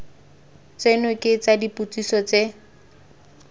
tseno ke tsa dipotsiso tse